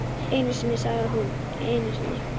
Einu sinni sagði hún, einu sinni.